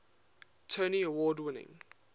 tony award winning